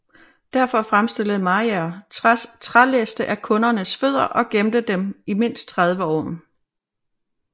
Derfor fremstillede Mayr trælæste af kundernes fødder og gemte dem i mindst 30 år